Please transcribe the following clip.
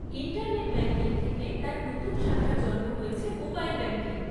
Internet banking থেকে তার নতুন শাখার জন্ম হয়েছে মোবাইল ব্যাংকিং।